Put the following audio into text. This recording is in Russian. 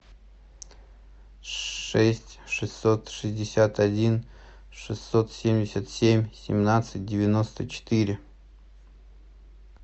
шесть шестьсот шестьдесят один шестьсот семьдесят семь семнадцать девяносто четыре